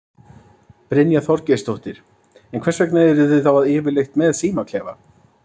Brynja Þorgeirsdóttir: En hvers vegna eruð þið þá yfirleitt með símaklefa?